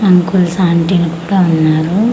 Uncles aunty లు కూడా ఉన్నారు.